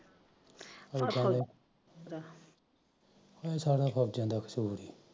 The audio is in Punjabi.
ਸਾਲਾ ਫਸ ਜਾਂਦਾ ਐ